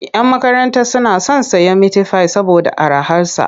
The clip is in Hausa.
Yan makaranta suna son sayen mitifai saboda araharsa.